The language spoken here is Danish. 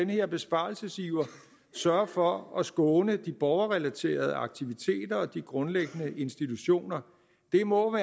her besparelsesiver sørge for at skåne de borgerrelaterede aktiviteter og de grundlæggende institutioner det må